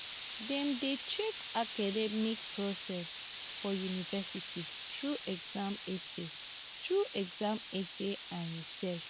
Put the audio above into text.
dem dey check academic process for university through exam essay through exam essay and research